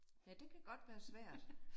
Ja det kan godt være svært